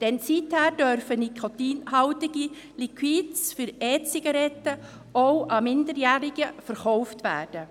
Seither dürfen nikotinhaltige Liquids für E-Zigaretten auch an Minderjährige verkauft werden.